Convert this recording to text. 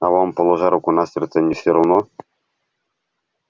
а вам положа руку на сердце не всё равно